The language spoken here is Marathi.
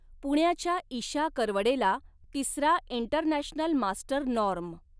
पुण्याच्या ईशा करवडेला तिसरा इंटरनॅशनल मास्टर नॉर्म